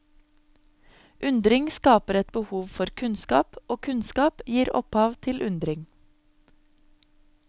Undring skaper et behov for kunnskap, og kunnskap gir opphav til undring.